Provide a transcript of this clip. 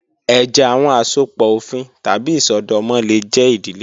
Ẹjẹ, awọn asopọ ofin tabi isọdọmọ le jẹ idile kan